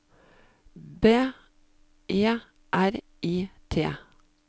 B E R I T